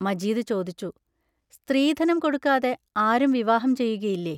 മജീദ് ചോദിച്ചു: സ്ത്രീധനം കൊടുക്കാതെ ആരും വിവാഹം ചെയ്യുകയില്ലേ?